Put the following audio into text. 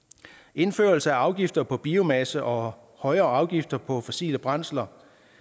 indførelse af afgifter på biomasse og højere afgifter på fossile brændsler